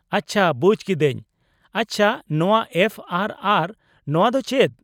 -ᱟᱪᱪᱷᱟ ᱵᱩᱡ ᱠᱤᱫᱟᱹᱧ ᱾ ᱟᱪᱪᱷᱟ ᱱᱚᱶᱟ ᱮᱯᱷᱹ ᱟᱨᱹ ᱟᱨᱹ ᱱᱚᱶᱟ ᱫᱚ ᱪᱮᱫ ?